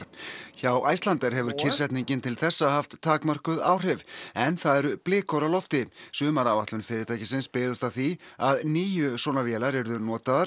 hjá Icelandair hefur kyrrsetningin til þessa haft takmörkuð áhrif en það eru blikur á lofti sumaráætlun fyrirtækisins byggðist á því að níu svona vélar yrðu notaðar